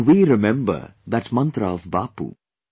Can we remember that mantra of Bapu